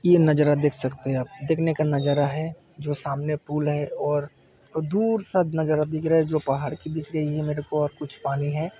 ये नज़ारा देख सकते हैं आप देखने का नज़ारा है जो सामने पुल है और दूर सब नज़ारा दिख रहा जो पहाड़ की दिख रही मेरे को और कुछ पानी है।